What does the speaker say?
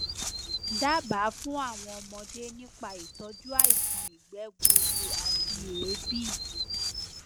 dábàá fún àwọn ọmọdé nípa ìtọjú àìsàn ìgbẹ gbuuru àti èébì